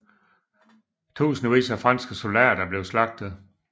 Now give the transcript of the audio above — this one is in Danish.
Tusindvis af franske soldater blev slagtet